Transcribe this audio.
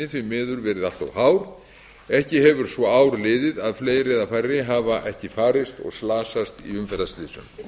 umferðinni verið allt of hár ekki hefur svo ár liðið að fleiri eða færri hafi ekki farist og slasast í umferðarslysum